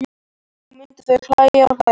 Og þá myndu þau hlæja og hlæja.